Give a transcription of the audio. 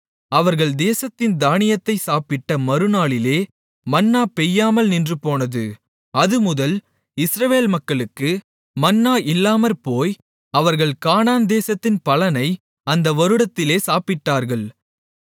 அவர்கள் தேசத்தின் தானியத்தைச் சாப்பிட்ட மறுநாளிலே மன்னா பெய்யாமல் நின்றுபோனது அதுமுதல் இஸ்ரவேல் மக்களுக்கு மன்னா இல்லாமற்போய் அவர்கள் கானான்தேசத்தின் பலனை அந்த வருடத்திலே சாப்பிட்டார்கள்